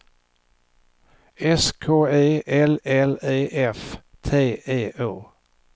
S K E L L E F T E Å